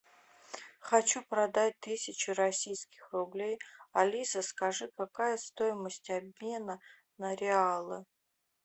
хочу продать тысячу российских рублей алиса скажи какая стоимость обмена на реалы